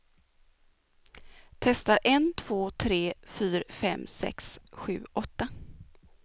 Testar en två tre fyra fem sex sju åtta.